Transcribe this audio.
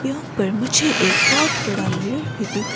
यहां पर मुझे एक बहोत बड़ा मिरर भी दिख--